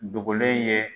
Dogolen ye